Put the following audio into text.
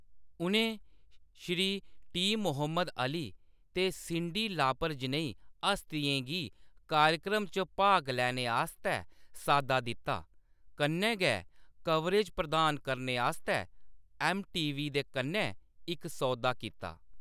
उʼनें Shri T. . Muhammad Ali ते Cyndi Lauper जनेही हस्तियें गी कार्यक्रम च भाग लैने आस्तै साद्दा दित्ता, कन्नै गै कवरेज प्रदान करने आस्तै एमटीवी दे कन्नै इक सौदा कीता।